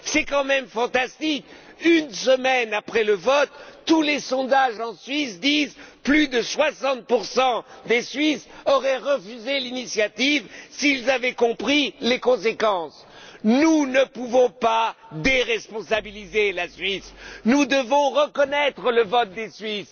C'est quand même fantastique, une semaine après le vote, tous les sondages en Suisse indiquent que plus de 60 des Suisses auraient refusé l'initiative s'ils avaient compris les conséquences. Nous ne pouvons pas déresponsabiliser la Suisse. Nous devons reconnaître le vote des Suisses